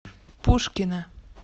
пушкино